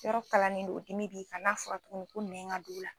Yɔrɔ kalanlen don, o dimi bi kan, n'a fɔra tuguni ko nɛn ka don la dos